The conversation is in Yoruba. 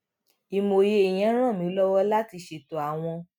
ìmòye yẹn ràn mí lówó láti ṣètò àwọn